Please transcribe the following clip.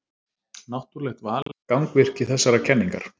Náttúrlegt val er gangvirki þessarar kenningar.